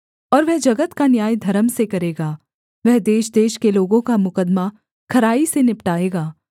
और वह जगत का न्याय धर्म से करेगा वह देशदेश के लोगों का मुकद्दमा खराई से निपटाएगा